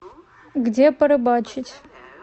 где порыбачить